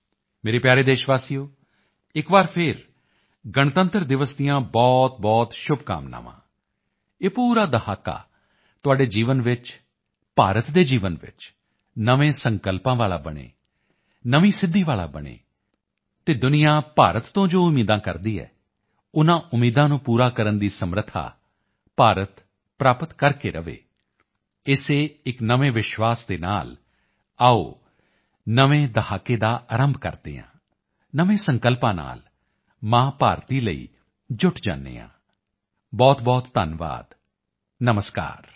ਮੇਰੇ ਪਿਆਰੇ ਦੇਸ਼ਵਾਸੀਓ ਫਿਰ ਇੱਕ ਵਾਰੀ ਗਣਤੰਤਰ ਦਿਵਸ ਦੀਆਂ ਬਹੁਤਬਹੁਤ ਸ਼ੁਭਕਾਮਨਾਵਾਂ ਇਹ ਪੂਰਾ ਦਹਾਕਾ ਤੁਹਾਡੇ ਜੀਵਨ ਵਿੱਚ ਭਾਰਤ ਦੇ ਜੀਵਨ ਵਿੱਚ ਨਵੇਂ ਸੰਕਲਪਾਂ ਵਾਲਾ ਬਣੇ ਨਵੀਂ ਸਿੱਧੀ ਵਾਲਾ ਬਣੇ ਅਤੇ ਦੁਨੀਆ ਭਾਰਤ ਤੋਂ ਜੋ ਉਮੀਦਾਂ ਕਰਦੀ ਹੈ ਉਨ੍ਹਾਂ ਉਮੀਦਾਂ ਨੂੰ ਪੂਰਾ ਕਰਨ ਦੀ ਸਮਰੱਥਾ ਭਾਰਤ ਪ੍ਰਾਪਤ ਕਰਕੇ ਰਹੇ ਇਸੇ ਇੱਕ ਨਵੇਂ ਵਿਸ਼ਵਾਸ ਦੇ ਨਾਲ ਆਓ ਨਵੇਂ ਦਹਾਕੇ ਦਾ ਅਰੰਭ ਕਰਦੇ ਹਾਂ ਨਵੇਂ ਸੰਕਲਪਾਂ ਨਾਲ ਮਾਂ ਭਾਰਤੀ ਲਈ ਜੁਟ ਜਾਂਦੇ ਹਾਂ ਬਹੁਤਬਹੁਤ ਧੰਨਵਾਦ ਨਮਸਕਾਰ